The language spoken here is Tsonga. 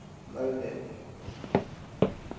malden